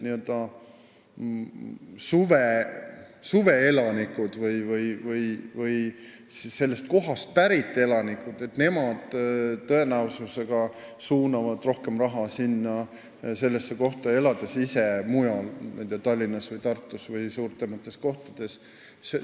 Nii-öelda suveelanikud või sellest kohast pärit elanikud suunavad tõenäoliselt sinna rohkem raha, elades ise mujal, Tallinnas, Tartus või mujal suuremates kohtades.